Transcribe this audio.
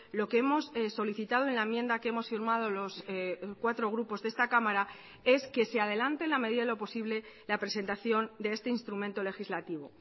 lo que hemos solicitado en la enmienda que hemos firmado los cuatro grupos de esta cámara es que se adelante en la medida de lo posible la presentación de este instrumento legislativo